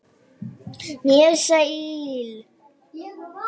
greip Lena inn í dramað.